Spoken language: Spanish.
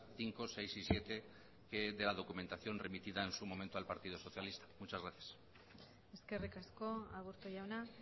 cinco seis y siete de la documentación remitida en su momento al partido socialista muchas gracias eskerrik asko aburto jauna